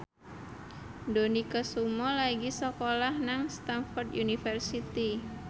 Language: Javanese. Dony Kesuma lagi sekolah nang Stamford University